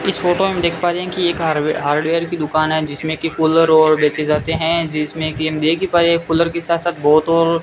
इस फोटो मे देख पा रहे है कि एक हारवेर हार्डवेयर की दुकान है जिसमें की कूलर और बेचे जाते है जिसमें की हम देख ही पाये है कूलर के साथ साथ बहोत ओर--